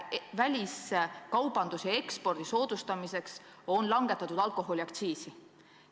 Väliskaubanduse ja ekspordi soodustamiseks on langetatud alkoholiaktsiisi.